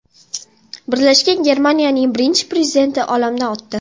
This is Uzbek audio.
Birlashgan Germaniyaning birinchi prezidenti olamdan o‘tdi.